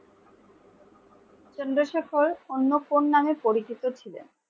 চন্দ্রশেখর অন্য কোন নামে পরিচিত ছিলেন?